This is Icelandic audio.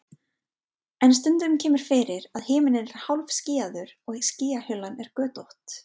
en stundum kemur fyrir að himinninn er hálfskýjaður og skýjahulan er götótt